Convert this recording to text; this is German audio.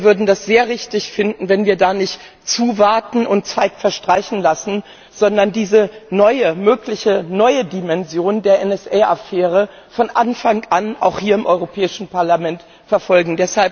Und wir würden es sehr richtig finden, wenn wir da nicht zuwarten und Zeit verstreichen lassen, sondern diese mögliche neue Dimension der NSA Affäre von Anfang an auch hier im Europäischen Parlament verfolgen.